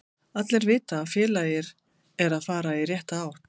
Allir vita að félagið er að fara í rétta átt.